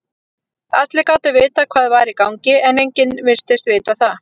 Allir gátu vitað hvað var í gangi, en enginn virtist vita það.